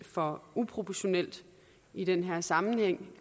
for uproportioneret i den her sammenhæng